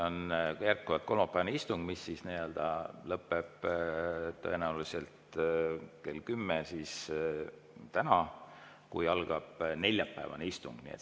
On jätkuvalt kolmapäevane istung, mis lõpeb tõenäoliselt täna kell 10, kui algab neljapäevane istung.